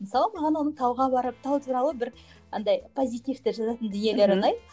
мысалы маған оның тауға барып тау туралы бір андай позитивті жазатын дүниелері ұнайды